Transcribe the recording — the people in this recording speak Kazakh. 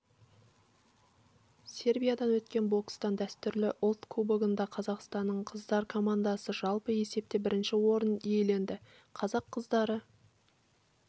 сербияда өткен бокстан дәстүрлі ұлт кубогында қазақстанның қыздар командасы жалпы есепте бірінші орын иеленді қазақ қыздары